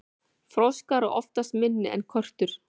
froskar eru oftast minni en körtur